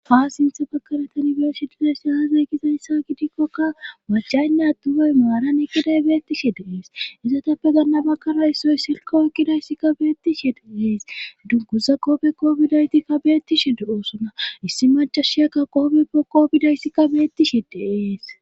Ha sintha bakaretan beeshi dizesi haazay gizayssa gidikkoka wachaynne addumay maara nikiday beettishe deees izotappe ganna bakara issoy silkooekkidayssikka beettishe deees dunkuza qoobe koobidaytikka beetti she de oosonna issi machashiyakka qoobe po koobidayssikka beettishe deees.